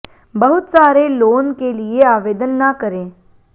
बहुत सारे लोन के लिए आवेदन न करें